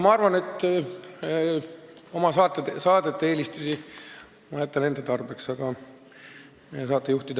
Ma arvan, et oma saadete või saatejuhtide eelistused ma jätan enda teada.